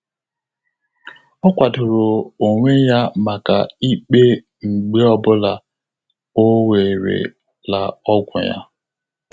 Ọ́ kwàdòrò ónwé yá màkà íkpé mgbè ọ́ bụ́lá ọ́ wéré la ọ́gwụ́ yá.